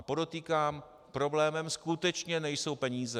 A podotýkám, problémem skutečně nejsou peníze.